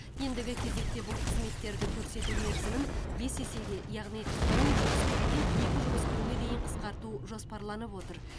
ендігі кезекте бұл қызметтерді көрсету мерзімін бес есеге яғни он жұмыс күнінен екі жұмыс күніне дейін қысқарту жоспарланып отыр